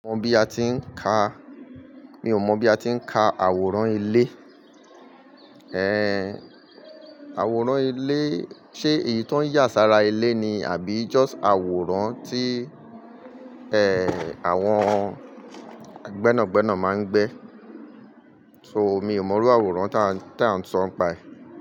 Mi ò mọ̀ bí a ti ń ka, mi ò mọ̀ bí a ti ń ka àwòrán ilé. Ẹ̀, àwòrán ilé, ṣe èyí tó ń yà sára ilé ni àbí just àwòrán tí, ẹ, àwọn gbẹ́nàgbẹ́nà máa ń gbé? So, mi ò mọrú àwòrán tá, táa ń sọ ń paẹ̀